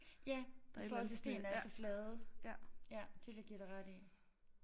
Ja i forhold til stene er så flade. Ja det vil jeg give dig ret i